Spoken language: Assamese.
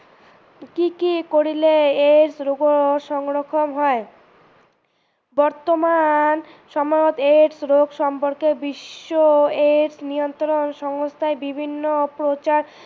কি কি কৰিলে AIDS ৰোগৰ সংক্ৰমন হয়, বৰ্তমান সময়ত AIDS ৰোগ সম্পৰ্কে বিশ্ব AIDS নিয়ন্ত্ৰণ সংস্থাই বিভিন্ন প্ৰচাৰ